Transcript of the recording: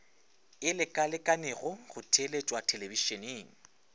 e lekalekanego go theeletšwa thelebišeneng